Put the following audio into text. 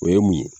O ye mun ye